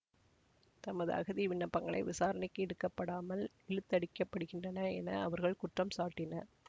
தமது அகதி விண்ணப்பங்களை விசாரணைக்கு எடுக்கப்படாமல் இழுத்தடிக்கப்படுகின்றன என அவர்கள் குற்றம் சாட்டினர்